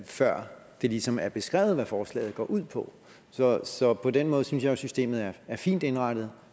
før det ligesom er beskrevet hvad forslaget går ud på så så på den måde synes jeg jo at systemet er fint indrettet